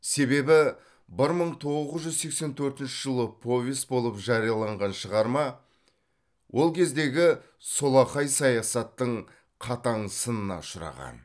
себебі бір мың тоғыз жүз сексен төртінші жылы повесть болып жарияланған шығарма ол кездегі солақай саясаттың қатаң сынына ұшыраған